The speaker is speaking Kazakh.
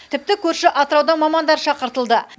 тіпті көрші атыраудан мамандар шақыртылды